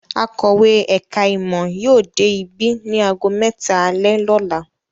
Akọ̀wé ẹ̀ka-ìmọ̀ yóò dé ibí ní ago mẹ́ta alẹ́ lọ́la.